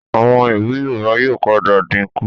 Àwọn ewì Yorùbá yóò padà dínkù